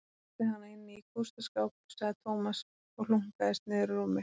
Hann læsti hana inni í kústaskáp sagði Tómas og hlunkaðist niður á rúmið.